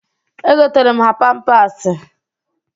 Egotara m ha pampasị.